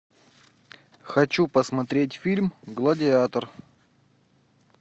хочу посмотреть фильм гладиатор